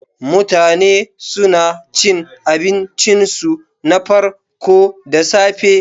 Mutane suna cin abincinsu na farko da safe.